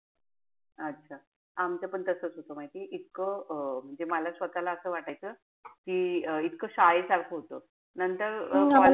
अच्छा. आमचं पण तसेच होत माहितीये. इतकं अं म्हणजे मला स्वतःला असं वाटायचं कि इतकं शाळेसारखं होत. नंतर अं